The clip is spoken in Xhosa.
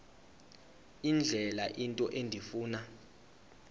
indlela into endifuna